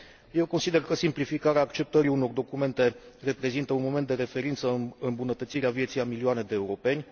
Eu consider că simplificarea acceptării unor documente reprezintă un moment de referință în îmbunătățirea vieții a milioane de europeni.